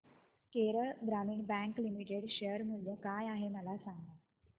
Kerala Gramin bank limited share मूल्य काय आहे मला सांगा